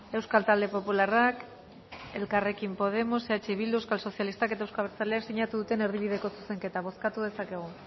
euskal talde popularrak elkarrekin podemos eh bildu euskal sozialistak eta euzko abertzaleak sinatu duten erdibideko zuzenketa bozkatu dezakegu